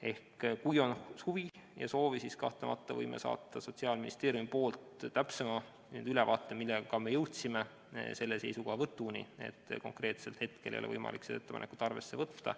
Ehk kui on huvi ja soovi, siis kahtlemata võime saata Sotsiaalministeeriumist täpsema ülevaate, miks me jõudsime selle seisukohavõtuni, et hetkel ei ole võimalik seda ettepanekut arvesse võtta.